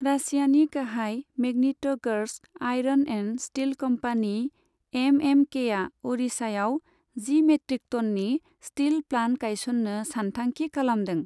रासियानि गाहाय Magnitogorsk iron and steel company एमएमकेआ अडिशायाव जि मेट्रिक ट'ननि स्टिल प्लान्ट गायसननो सानथांखि खालामदों।